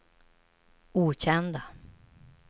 okända